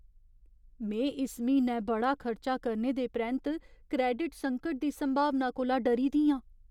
में इस म्हीनै बड़ा खर्चा करने दे परैंत्त क्रैडिट संकट दी संभावना कोला डरी दी आं।